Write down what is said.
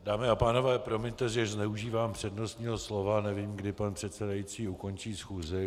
Dámy a pánové, promiňte, že zneužívám přednostního slova, nevím, kdy pan předsedající ukončí schůzi.